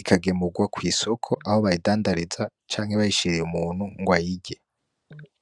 ikagemurwa kwisoko aho bayidandariza canke bayishiriye umutu ngo ayirye.